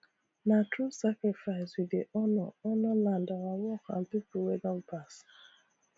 na through sacrifice we dey honour honour land our work and people wey don pass